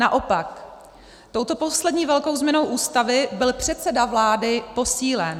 Naopak, touto poslední velkou změnou Ústavy byl předseda vlády posílen.